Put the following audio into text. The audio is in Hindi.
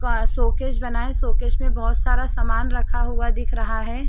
व सोकेज बना है सोकेज में बहुत सारा सामान रखा हुआ दिख रहा है।